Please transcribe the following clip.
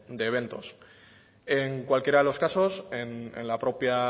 de eventos en cualquiera de los casos en la propia